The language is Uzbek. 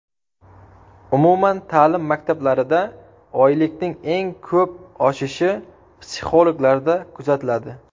Umum-ta’lim maktablarida oylikning eng ko‘p oshishi psixologlarda kuzatiladi.